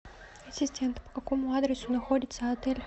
ассистент по какому адресу находится отель